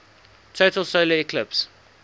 total solar eclipse